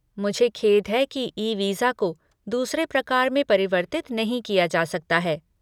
मुझे खेद है कि ई वीज़ा को दूसरे प्रकार में परिवर्तित नहीं किया जा सकता है।